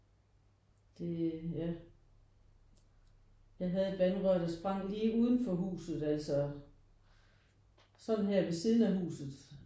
Det er ja jeg havde et vandrør der sprang lige uden for huset altså sådan her ved siden af huset